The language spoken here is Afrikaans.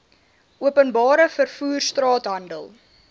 openbare vervoer straathandel